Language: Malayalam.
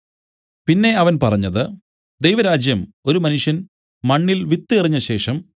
പിന്നെ അവൻ പറഞ്ഞത് ദൈവരാജ്യം ഒരു മനുഷ്യൻ മണ്ണിൽ വിത്ത് എറിഞ്ഞശേഷം